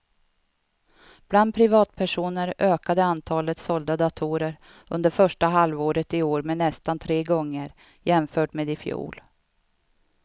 Bland privatpersoner ökade antalet sålda datorer under första halvåret i år med nästan tre gånger jämfört med i fjol.